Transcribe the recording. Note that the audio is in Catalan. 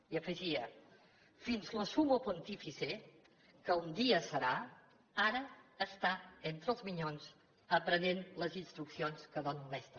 i afegia fins lo summo pontifice que un dia serà ara està entre los minyons aprenent les instruccions que dóna un mestre